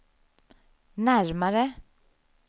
närmare